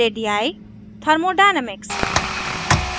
radii radii thermodynamics thermodynamics